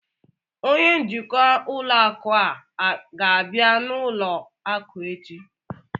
Onye njikwa ụlọ akụ a ga-abịa n'ụlọ akụ echi?